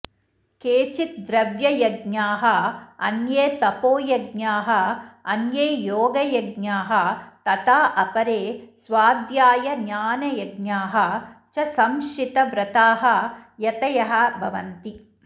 केचित् द्रव्ययज्ञाः अन्ये तपोयज्ञाः अन्ये योगयज्ञाः तथा अपरे स्वाध्यायज्ञानयज्ञाः च संशितव्रताः यतयः भवन्ति